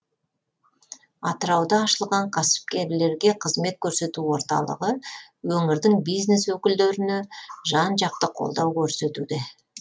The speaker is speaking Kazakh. атырауда ашылған кәсіпкерлерге қызмет көрсету орталығы өңірдің бизнес өкілдеріне жан жақты қолдау көрсетуде